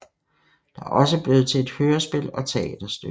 Det er også blevet til hørespil og teaterstykker